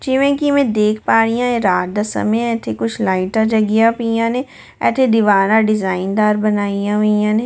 ਜਿਵੇਂ ਕਿ ਮੈਂ ਦੇਖ ਪਾ ਰਹੀ ਆਂ ਰਾਤ ਦਾ ਸਮੇਂ ਏ ਇਥੇ ਕੁਝ ਲਾਈਟਾਂ ਜੱਗੀਆਂ ਪਈਆਂ ਨੇ ਇਥੇ ਦੀਵਾਰਾਂ ਡਿਜ਼ਾਇਨਦਾਰ ਬਣਾਈਆਂ ਹੋਈਆਂ ਨੇ।